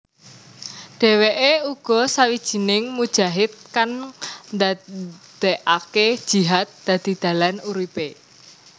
Dheweke uga sawijining mujahid kang ndadekake jihad dadi dalan uripe